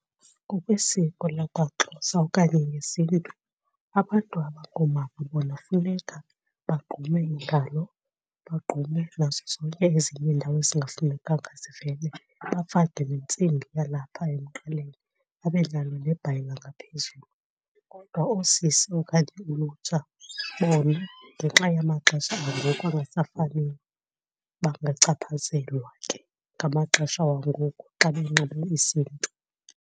Ngokwesiko lakwaXhosa okanye ngesiNtu abantu abangoomama bona funeka bagqume iingalo, bagqume nazo zonke ezinye iindawo ezingafanelekanga zivele bafake nentsimbi yalapha emqaleni abe nalo nebhayi langaphezulu. Kodwa oosisi okanye ulutsha bona ngenxa yamaxesha angoku angasafaniyo bangachaphazelwa ke ngamaxesha wangoku xa benxibe isiNtu.